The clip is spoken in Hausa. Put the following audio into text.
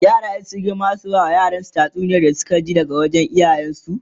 yara suma in sun girma zasu bama yaransu tatsuniyar da Suka ji daga iyayen su